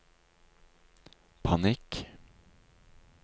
panikk